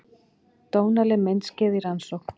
Dónaleg myndskeið í rannsókn